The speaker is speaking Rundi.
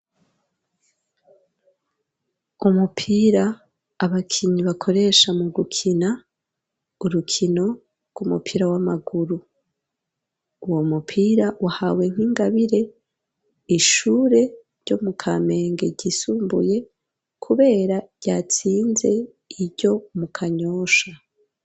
Umupira abakinyi bakoresha mu gukina urukino rw'umupira w'amaguru uwo mupira uhawe nk'ingabire ishure ryo mu Kamenge ryisumbuye kubera ryatsinze iryo mu Kanyosha.